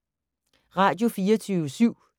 Radio24syv